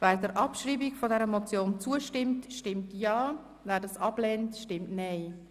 Wer der Abschreibung der Motion zustimmt, stimmt Ja, wer diese ablehnt, stimmt Nein.